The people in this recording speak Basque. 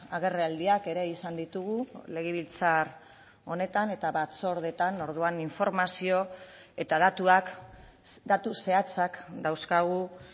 agerraldiak ere izan ditugu legebiltzar honetan eta batzordeetan orduan informazio eta datuak datu zehatzak dauzkagu